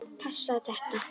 Passar þetta?